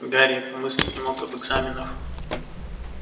гарри и помыслить не мог об экзаменах